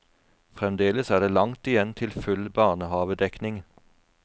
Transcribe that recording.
Fremdeles er det langt igjen til full barnehavedekning.